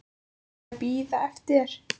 Ég er að bíða eftir þér.